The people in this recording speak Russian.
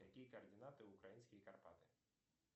какие координаты украинские карпаты